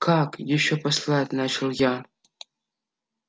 как ещё послать начал я